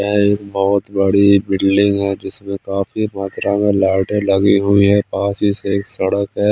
एक बहोत बड़ी बिल्डिंग है जिसमे काफी मत्रा में लाइटे लगी हुई है पास हीसे सडक है।